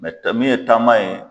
Mɛ tɛ min ye taama ye